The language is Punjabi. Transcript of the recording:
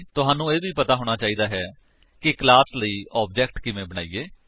ਤੁਹਾਨੂੰ ਇਹ ਵੀ ਪਤਾ ਹੋਣਾ ਚਾਹੀਦਾ ਹੈ ਕਿ ਕਲਾਸ ਲਈ ਆਬਜੇਕਟ ਕਿਵੇਂ ਬਣਾਇਏ